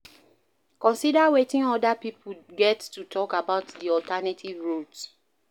Consider weting oda pipo get to talk about di alternative route